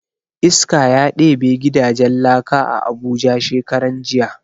Iska ya ɗebe gidajen laka a abuja shekaran jiya